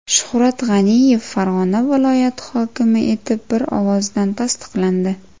Shuhrat G‘aniyev Farg‘ona viloyati hokimi etib bir ovozdan tasdiqlandi.